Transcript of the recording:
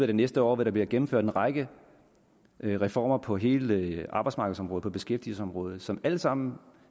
det næste år vil der blive gennemført en række reformer på hele arbejdsmarkedsområdet på beskæftigelsesområdet som alle sammen